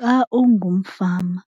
Xa ungumfama